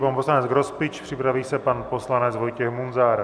Pan poslanec Grospič, připraví se pan poslanec Vojtěch Munzar.